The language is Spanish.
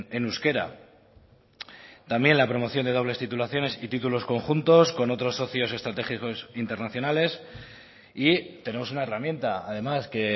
en euskera también la promoción de dobles titulaciones y títulos conjuntos con otros socios estratégicos internacionales y tenemos una herramienta además que